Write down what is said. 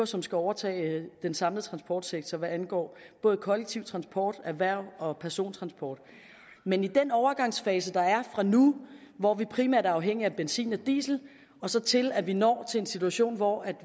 som skal overtage den samlede transportsektor hvad angår både kollektiv transport erhvervs og persontransport men i den overgangsfase der er fra nu hvor vi primært er afhængige af benzin og diesel og så til at vi når til en situation hvor